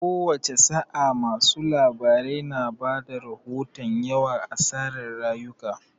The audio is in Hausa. Kowace sa'a, masu labarai na ba da rahoton yawan asarar rayuka.